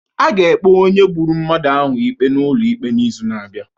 A ga-ekpe onye gburu mmadụ ahụ ikpe n'ụlọ ikpe n'izu na-abịa